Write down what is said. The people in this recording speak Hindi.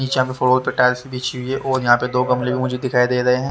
नीचे यहाँ फ्लोर पे टाइल्स बिछी हुई है और यहाँ पे दो गमले मुझे दिखाई दे रहे है।